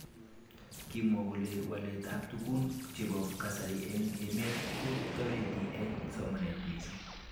Kimwa kole walet ab tugun chebo kasari eng emet ko toreti eng somanet mising.